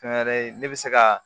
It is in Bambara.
Fɛn wɛrɛ ye ne bɛ se ka